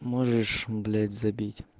можешь блять забить